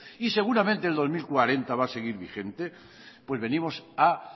y seguramente el dos mil catorce va a seguir vigente pues venimos a